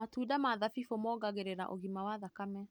Matunda ma thabibu mongagĩrĩra ũgima wa thakame.